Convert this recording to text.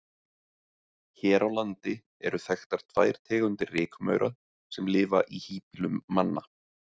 Hér á landi eru þekktar tvær tegundir rykmaura sem lifa í híbýlum manna.